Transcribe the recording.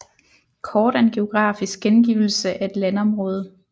Kort er en geografisk gengivelse af et landområde